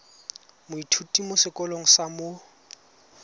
moithuti mo sekolong sa mo